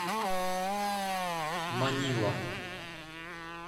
манила